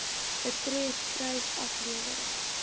betref prys aflewering